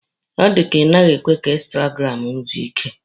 Ọ dịka Ị naghị ekwe ka instagramụ gị zuo ike!